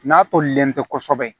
N'a tolilen tɛ kosɛbɛ